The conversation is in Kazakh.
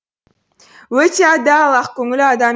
өте адал ақкөңіл адам